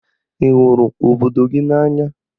Ị hụrụ obodo gị n'anya?